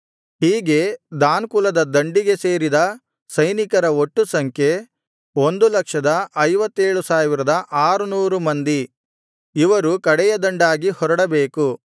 ಹೀಗೆ ದಾನ್ ಕುಲದ ದಂಡಿಗೆ ಸೇರಿದ ಸೈನಿಕರ ಒಟ್ಟು ಸಂಖ್ಯೆ 157600 ಮಂದಿ ಇವರು ಕಡೆಯ ದಂಡಾಗಿ ಹೊರಡಬೇಕು